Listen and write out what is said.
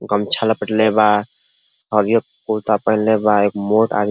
गमछा लपेटले बा हरिहर कुरता पहिनले बा एगो मोट आदमी --